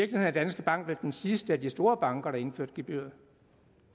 er danske bank vel den sidste af de store banker der har indført gebyrer